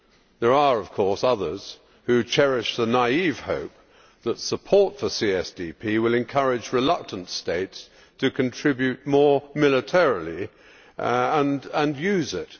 There are, of course, others, who cherished the naive hope that support for CSDP will encourage reluctant states to contribute more, militarily, and use it.